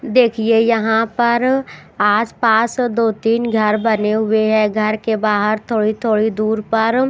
देखिए यहां पर आसपास दो तीन घर बने हुए हैं घर के बाहर थोड़ी थोड़ी दूर पर--